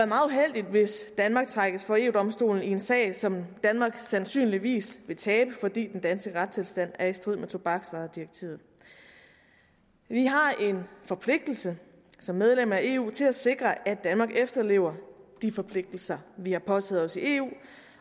meget uheldigt hvis danmark trækkes for eu domstolen i en sag som danmark sandsynligvis vil tabe fordi den danske retstilstand er i strid med tobaksvaredirektivet vi har en forpligtelse som medlem af eu til at sikre at danmark efterlever de forpligtelser vi har påtaget os i eu